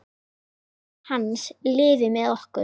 Minning hans lifir með okkur.